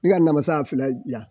ka namasa filɛ .